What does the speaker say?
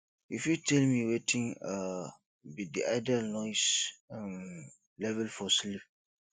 you fit tell me wetin um be di ideal noise um level for sleep